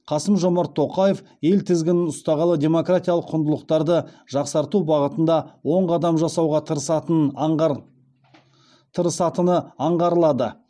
қасым жомарт тоқаев ел тізгінін ұстағалы демократиялық құндылықтарды жақсарту бағытында оң қадам жасауға тырысатыны аңғарылады